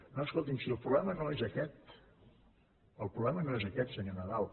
no escolti’m si el problema no és aquest el problema no és aquest senyor nadal